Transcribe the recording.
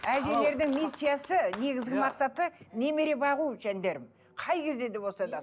әжелердің миссиясы негізгі мақсаты немере бағу жандарым қай кезде де болса да